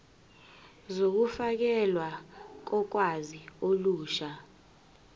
zokufakelwa kolwazi olusha